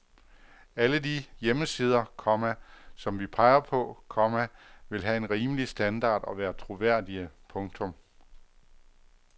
Alle de hjemmesider, komma som vi peger på, komma vil have en rimelig standard og være troværdige. punktum